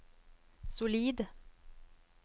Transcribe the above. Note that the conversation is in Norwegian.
solid